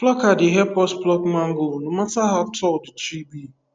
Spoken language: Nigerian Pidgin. plucker dey help us pluck mango no matter how tall the tree be